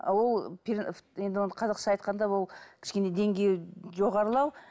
ол енді оны қазақша айтқанда ол кішкене деңгейі жоғарылау